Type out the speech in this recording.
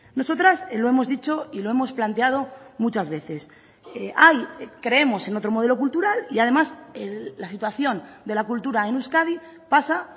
nosotras lo hemos dicho y lo hemos planteado muchas veces creemos en otro modelo cultural y además la situación de la cultura en euskadi pasa